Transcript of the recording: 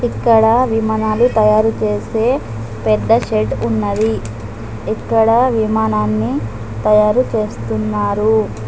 ఇక్కడ విమానాలు తయారు చేసే పెద్ద షెడ్ ఉన్నది ఇక్కడ విమానాన్ని తయారు చేస్తున్నారు.